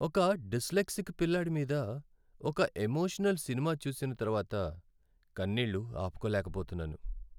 ఒక డిస్లెక్సిక్ పిల్లాడి మీద ఒక ఎమోషనల్ సినిమా చూసిన తర్వాత కన్నీళ్లు ఆపుకోలేకపోతున్నాను.